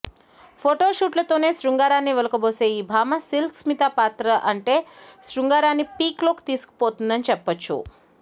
photo షూట్లతోనే శృంగారాన్ని ఒలకబోసే ఈ భామ సిల్క్ స్మిత పాత్రలో అంటే శృంగారాన్ని పీక్లోకి తీసుకుపోతుందని చెప్పొచ్చు